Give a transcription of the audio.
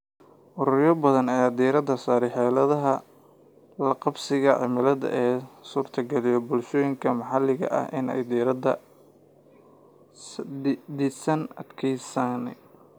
Ururo badan ayaa diiradda saaraya xeeladaha la qabsiga cimilada ee u suurtageliya bulshooyinka maxalliga ah inay dhisaan adkeysiga.